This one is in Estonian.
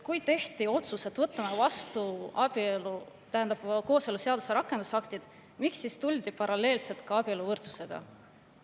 Kui tehti otsus, et võtame vastu kooseluseaduse rakendusaktid, miks siis tuldi paralleelselt siia ka abieluvõrdsuse?